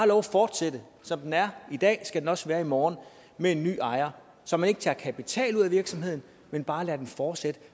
lov at fortsætte som den er i dag skal den også være i morgen med en ny ejer så man ikke tager kapital ud af virksomheden men bare lader den fortsætte